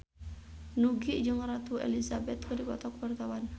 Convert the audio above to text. Nugie jeung Ratu Elizabeth keur dipoto ku wartawan